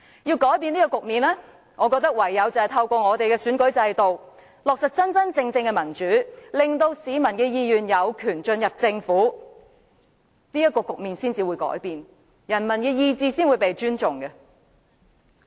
要改變這個局面，我覺得唯有透過選舉制度落實真正的民主，令市民的意願有權進入政府，才能改變這個局面，人民的意願才會被尊重。